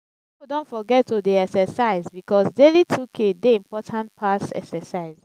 pipo don forget to dey excercise bikos daily 2k dey important pass excercise